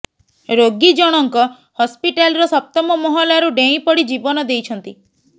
ରୋଗୀ ଜଣଙ୍କ ହସ୍ପିଟାଲର ସପ୍ତମ ମହଲାରୁ ଡେଇଁପଡି ଜୀବନ ଦେଇଛନ୍ତି